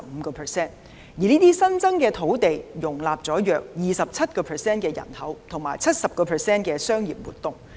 這些新增的土地，容納了約 27% 人口及 70% 商業活動。